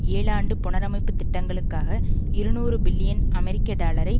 ஏழாண்டு புனரமைப்பு திட்டங்களுக்காக இருநூறு பில்லியன் அமெரிக்க டாலரை